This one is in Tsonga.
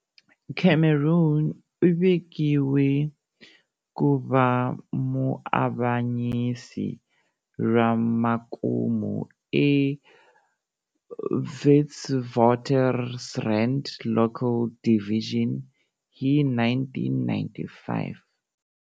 Cameron u vekiwe ku va muavanyisi ra makumu eWitwatersrand Local Division hi 1995.